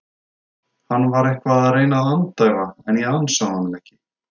Hann var eitthvað að reyna að andæfa en ég ansaði honum ekki.